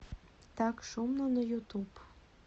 так шумно на ютуб